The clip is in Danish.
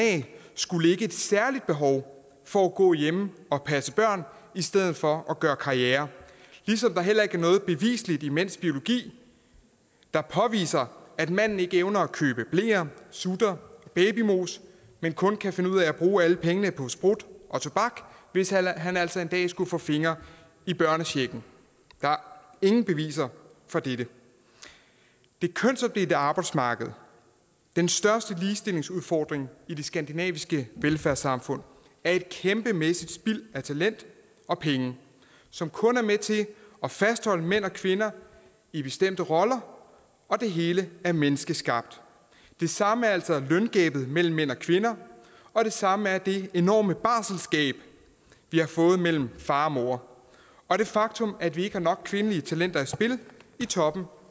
skulle ligge et særligt behov for at gå hjemme og passe børn i stedet for at gøre karriere ligesom der heller ikke er noget beviseligt i mænds biologi der påviser at manden ikke evner at købe bleer sutter og babymos men kun kan finde ud af at bruge alle pengene på sprut og tobak hvis han altså en dag skulle få fingre i børnechecken der er ingen beviser for dette det kønsopdelte arbejdsmarked den største ligestillingsudfordring i de skandinaviske velfærdssamfund er et kæmpemæssigt spild af talent og penge som kun er med til at fastholde mænd og kvinder i bestemte roller og det hele er menneskeskabt det samme er altså løngabet mellem mænd og kvinder og det samme er det enorme barselsgab vi har fået mellem far og mor og det faktum at vi ikke har nok kvindelige talenter i spil i toppen